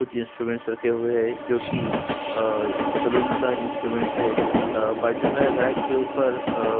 कुछ इंस्ट्रूमेंट्स रखे हुए हैं जो की आ सलून का इंस्ट्रूमेंट्स है बाजू में रैक के ऊपर आ --